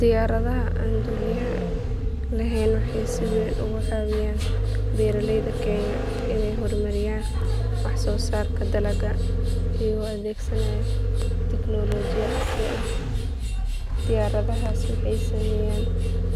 Diyaaradaha aan duuliyaha lahayn waxay si weyn uga caawiyaan beeralayda kenya inay horumariyaan wax soo saarka dalagga iyagoo adeegsanaya tignoolajiyad casri ah diyaaradahaas waxay sameeyaan